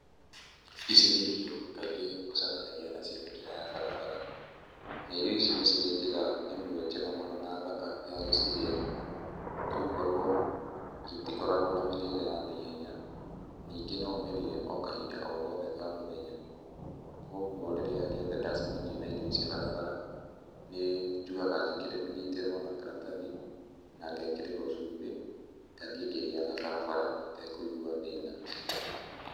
Ici nĩ irio kaingĩ ũcemanagia nacio mĩkĩra ya barabara na irio ici nĩ cirĩ njĩra ĩmwe njega mũno na thaka ya gũcirĩa, nĩ gũkorwo itikoragwo na mĩrĩre ya naihenya, ningĩ no ũmĩrĩe o kahinda o gothe ka mũthenya. koguo rĩrĩa rĩothe ndacemania na irio ici barabara, nĩ njugaga nyitĩrwo na karatathi, na ngekĩrĩrwo cumbĩ, ngathiĩ ngĩrĩaga barabara itekũigua thĩna.